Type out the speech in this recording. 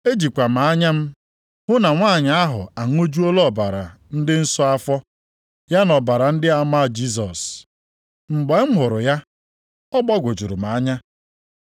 Ejikwa m anya m hụ na nwanyị ahụ aṅụjuola ọbara ndị nsọ afọ, ya na ọbara ndị ama Jisọs. Mgbe m hụrụ ya, ọ gbagwojuru m anya.